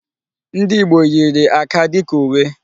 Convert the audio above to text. Ndị Ìgbo yiri áká dịka uwe.